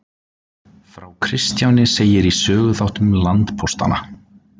Frá Kristjáni segir í Söguþáttum landpóstanna.